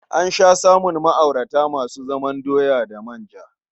An sha samun ma'aurata masu zaman doya da manja.